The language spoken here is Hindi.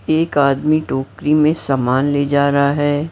एक आदमी टोकरी में सामान ले जा रहा है।